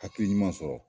Hakili ɲuman sɔrɔ